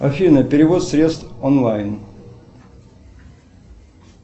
афина перевод средств онлайн